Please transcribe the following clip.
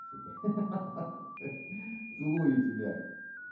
сука ха-ха целую тебя